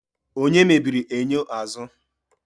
Onye mebiri enyo azụ?